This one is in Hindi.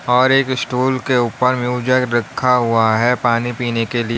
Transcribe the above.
और एक स्टूल के ऊपर में जग रखा हुआ पानी पीने के लिए।